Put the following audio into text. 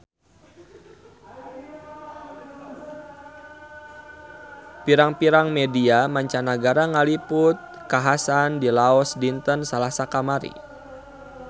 Pirang-pirang media mancanagara ngaliput kakhasan di Laos dinten Salasa kamari